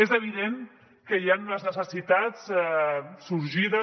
és evident que hi han unes necessitats sorgides